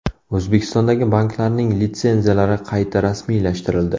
O‘zbekistondagi banklarning litsenziyalari qayta rasmiylashtirildi.